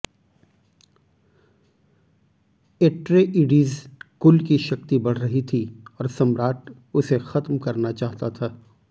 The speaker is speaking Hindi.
ऍट्रेइडीज़ कुल की शक्ति बढ़ रही थी और सम्राट उसे ख़त्म करना चाहता था